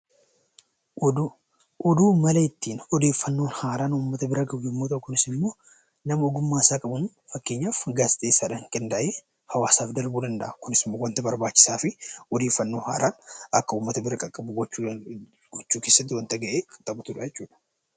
Oduun mala ittiin odeeffannoon haaraa uummata bira gahu yommuu ta'u, kunis immoo nama ogummaasaaa qabuun, fakkeenyaaf gaazexeessaadhaan qindaa'ee hawaasaaf darbuu danda'a. Kunis waanta barbaachisaa fi odeeffannoo haaraa akka uummata bira qaqqabu gochuu keessatti waanta gahee taphatudha jechuudha.